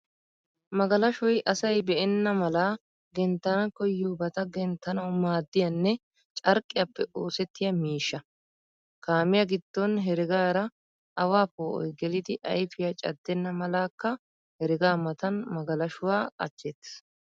Magalashoy asay be'enna mala genttana koyiyoobata genttanawu maaddiyaanne carqqiyaappe oosettiya miishsha. Kaamiyaa giddon heregaara aawaa poo'oy gelidi ayfiyaa caddenna malakka heregaa matan magalashuwaa qachcheettes.